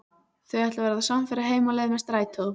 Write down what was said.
Þau ætla að verða samferða heim á leið með strætó.